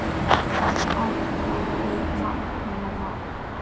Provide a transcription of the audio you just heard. Alkóhól magn hennar var.